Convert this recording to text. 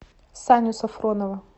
саню сафронова